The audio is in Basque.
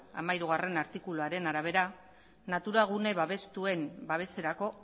hamairugarrena artikuluaren arabera natura gune babestuen babeserako